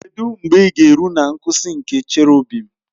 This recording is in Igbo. Kedụ mgbe ị ga-eru na nkwụsị nke Cherọbịm?